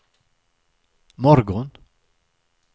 morgon